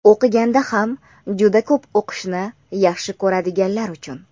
o‘qiganda ham juda ko‘p o‘qishni yaxshi ko‘radiganlar uchun!.